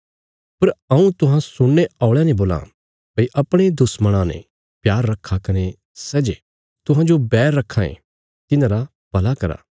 पर हऊँ तुहां सुणने औल़यां ने बोलां भई अपणे दुश्मणां ने प्यार रखा कने सै जे तुहांजो बैर रखां ये तिन्हारा भला करा